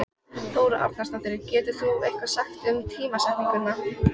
Þóra Arnórsdóttir: Getur þú eitthvað sagt um tímasetningu?